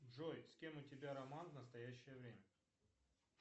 джой с кем у тебя роман в настоящее время